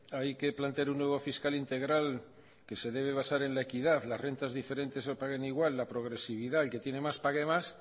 hay que plantear un nuevo fiscal integral que se debe basar en la equidad las rentas diferentes no pagan igual la progresividad el que tiene más pague más